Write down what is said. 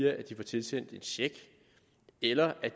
at de får tilsendt en check eller ved